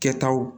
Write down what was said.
Kɛtaw